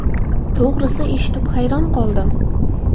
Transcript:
To‘g‘risi, eshitib hayron qoldim.